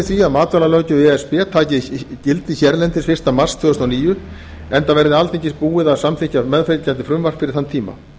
að matvælalöggjöf e s b taki gildi hérlendis fyrsta mars tvö þúsund og níu enda verði alþingi búið að samþykkja meðfylgjandi frumvarp fyrir þann tíma